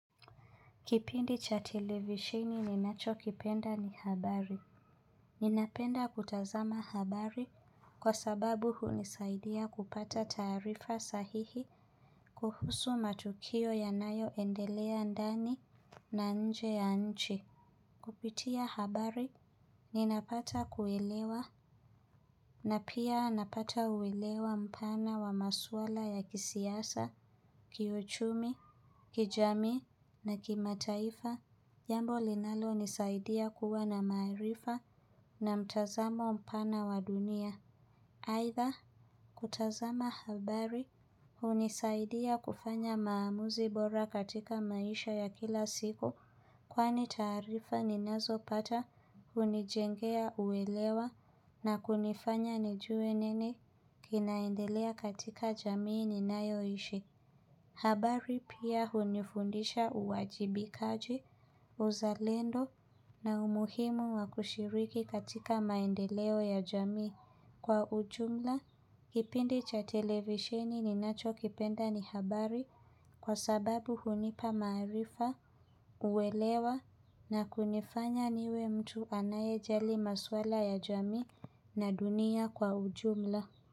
Kipindi cha televisheni ninacho kipenda ni habari. Ninapenda kutazama habari kwa sababu hunisaidia kupata taarifa sahihi kuhusu matukio yanayoendelea ndani na nje ya nchi. Kupitia habari, ninapata kuelewa na pia napata kuelewa mpana wa maswala ya kisiasa, kiuchumi, kijamii na kimataifa. Jambo linalonisaidia kuwa na maarifa na mtazamo mpana wa dunia. Aidha, kutazama habari, hunisaidia kufanya maamuzi bora katika maisha ya kila siku, kwani tarifa ninazopata, hunijengea uelewa, na kunifanya nijue nini kinaendelea katika jamii ninayoishi. Habari pia hunifundisha uwajibikaji, uzalendo na umuhimu wakushiriki katika maendeleo ya jamii kwa ujumla. Kipindi cha televisheni ninachokipenda ni habari kwa sababu hunipa maarifa uwelewa na kunifanya niwe mtu anayejali maswala ya jamii na dunia kwa ujumla.